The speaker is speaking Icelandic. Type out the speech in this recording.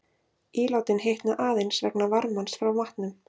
Ílátin hitna aðeins vegna varmans frá matnum.